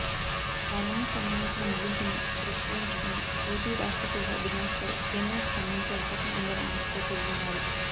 parliament సమావేశాల ముగింపును పురస్కరించుకొని ఏపీ రాష్ట్ర ప్రజల డిమాండ్పై కేంద్రం స్పందించే అవకాశం ఉందనే ఆశతో ప్రజలున్నారు